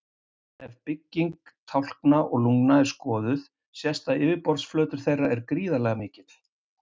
Ef bygging tálkna og lungna er skoðuð sést að yfirborðsflötur þeirra er gríðarlega mikill.